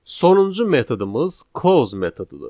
Sonuncu metodumuz close metodudur.